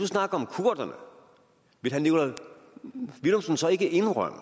snakker om kurderne vil herre nikolaj villumsen så ikke indrømme